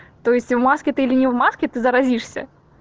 то есть в маске ты или не в маске ты заразишься